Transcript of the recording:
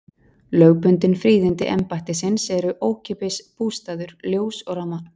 Lögbundin fríðindi embættisins eru ókeypis bústaður, ljós og rafmagn.